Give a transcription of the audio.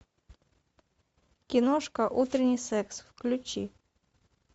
киношка утренний секс включи